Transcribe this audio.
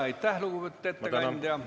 Aitäh, lugupeetud ettekandja!